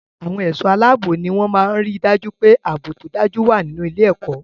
Àwọn ẹ̀ṣọ́-aláábò ní wọ́n máa ń ri dájú pé ààbò tó dájú wà nínú ilé-ẹ̀kọ́.